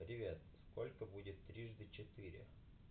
привет сколько будет трижды четыре